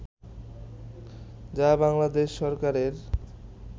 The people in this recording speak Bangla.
যা বাংলাদেশ সরকারের